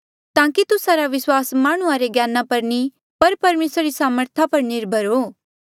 ताकि तुस्सा रा विस्वास माह्णुंआं रे ज्ञाना पर नी पर परमेसरा री सामर्था पर निर्भर हो